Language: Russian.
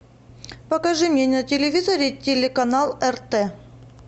покажи мне на телевизоре телеканал рт